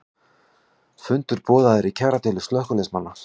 Fundur boðaður í kjaradeilu slökkviliðsmanna